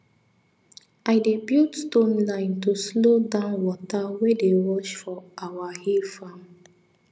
i dey build stone line to slow down water wey dey rush for our hill farm